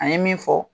An ye min fɔ